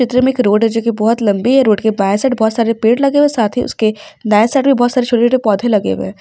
चित्र में एक रोड है जोकि बहुत लम्बी है। रोड के बाएँ साइड बहुत सारे पेड़ लगे हुए हैं साथ ही उसके दाएँ साइड भी बहुत सारे छोटे-छोटे पौधे लगे हुए हैं।